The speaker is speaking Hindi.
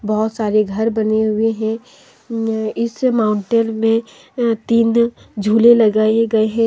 बहुत सारे घर बने हुए है अ इस माउंटेन में अ तीन झूले लगाए गए है।